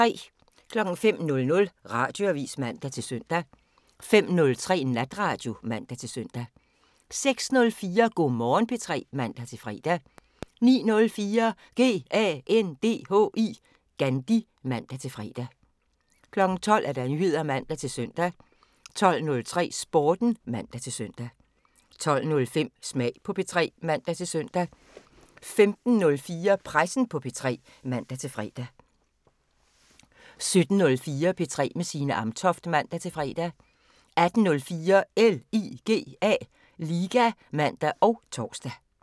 05:00: Radioavisen (man-søn) 05:03: Natradio (man-søn) 06:04: Go' Morgen P3 (man-fre) 09:04: GANDHI (man-fre) 12:00: Nyheder (man-søn) 12:03: Sporten (man-søn) 12:05: Smag på P3 (man-søn) 15:04: Pressen på P3 (man-fre) 17:04: P3 med Signe Amtoft (man-fre) 18:04: LIGA (man og tor)